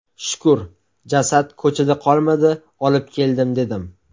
Shukur, jasad ko‘chada qolmadi, olib keldim dedim.